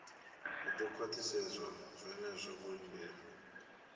hu do khwaṱhisedzwa zwenezwo vho lindela